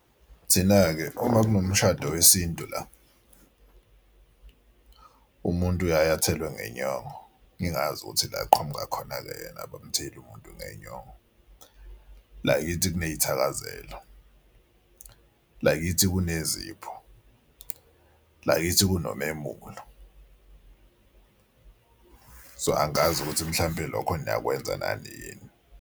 Thina-ke uma kunomshado wesintu la umuntu uyaye athelwe ngenyongo, ngingazi ukuthi la aqhamuka khona-ke yena abamtheli umuntu ngenyongo. La kithi kuney'thakazelo, la kithi kunezipho, la kithi kunomemulo. So angazi ukuthi mhlampe lokho niyakwenza nani yini.